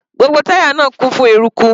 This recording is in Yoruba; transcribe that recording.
Gbogbo táyà náà kún fún eruku.